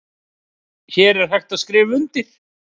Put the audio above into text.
Hér er hægt að skrifa undir